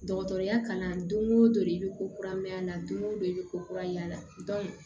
Dɔgɔtɔrɔya kalan don o don i bɛ ko kura mɛn a la don o don i bɛ ko kura y'a la